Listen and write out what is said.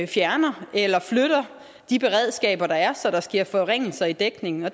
fjerner eller flytter de beredskaber der er så der sker forringelser i dækningen og